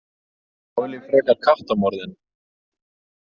Þá vil ég frekar kattamorðin.